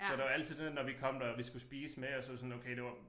Så der var altid det der når vi kom der og vi skulle spise med og så sådan okay det var